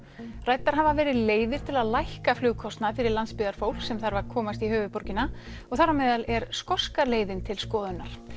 ræddar hafa verið leiðir til að lækka flugkostnað fyrir landsbyggðarfólk sem þarf að komast í höfuðborgina og þar á meðal er skoska leiðin til skoðunar